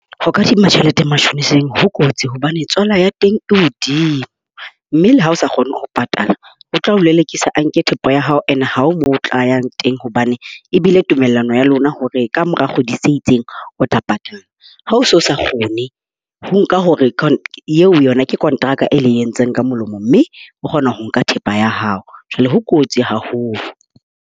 Ho kadima tjhelete matjhoniseng ho kotsi hobane tswala ya teng e hodimo. Mme le ha o sa kgone ho patala, o tla o lelekisa. A nke thepa ya hao and ha ho moo o tlayang teng hobane ebile tumellano ya lona hore kamora kgwedi tse itseng, o tla patala. Ha o se o sa kgone ho nka hore yona kontraka e le entseng ka molomo. Mme o kgona ho nka thepa ya hao. Jwale ho kotsi haholo.